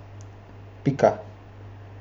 Pika.